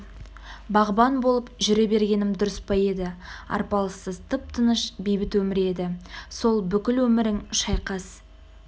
бағбан болып жүре бергенім дұрыс па еді арпалыссыз тып-тыныш бейбіт өмір еді сол бүкіл өмірің шайқас